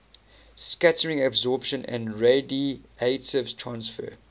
scattering absorption and radiative transfer